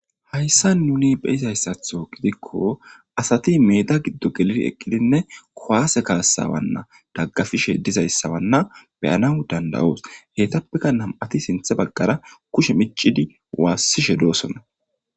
Hayssa nuni beyizayssatho gidikko asati meeda giddo geliri eqqidinne kowaase kaasawanna daggafishe dizayssawanna beyana dandawoos hetappeka nam7ati sinthe baggara kushe micidi waassishe doosona.